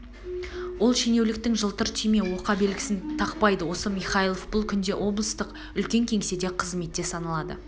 ол шенеуліктің жылтыр түйме оқа белгісін тақпайды осы михайлов бұл күнде облыстық үлкен кеңседе қызметте саналады